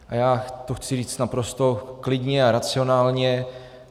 A já to chci říct naprosto klidně a racionálně.